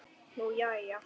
Nú jæja.